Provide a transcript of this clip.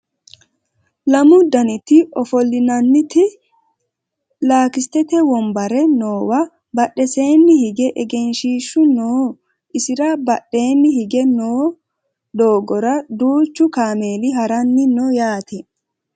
lamu daniti ofollinanniti laastikete wonabre noowa badheseenni hige egenshiishshu no isira badheeni higge noo doogora duuchu kameeli haranni no yaate